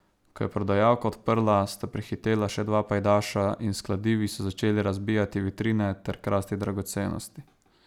Ko je prodajalka odprla, sta prihitela še dva pajdaša in s kladivi so začeli razbijati vitrine ter krasti dragocenosti.